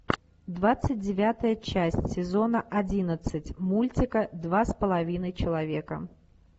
двадцать девятая часть сезона одиннадцать мультика два с половиной человека